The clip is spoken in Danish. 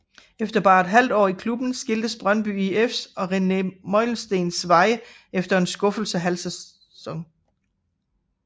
Efter bare et halvt år i klubben skiltes Brøndby IFs og René Meulensteens veje efter en skuffende halvsæson